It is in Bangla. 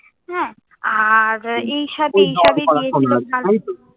হ্যাঁ, আর এই সাথে এর সবই দিয়েছিল